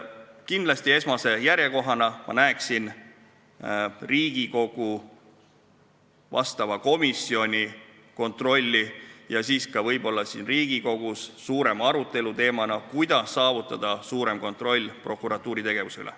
Kindlasti näeksin ma esmajärjekorras Riigikogu vastava komisjoni kontrolli ja ka võib-olla siin Riigikogus võiks see olla suurema arutelu teema, kuidas saavutada suurem kontroll prokuratuuri tegevuse üle.